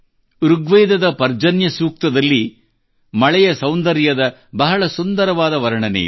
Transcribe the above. ಋಗ್ವೇದದ ಪರ್ಜನ್ಯ ಸೂಕ್ತಂನಲ್ಲಿ ಮಳೆಯ ಸೌಂದರ್ಯದ ಬಹಳ ಸುಂದರವಾದ ವರ್ಣನೆಯಿದೆ